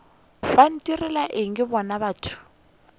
ba ntirela eng bona batho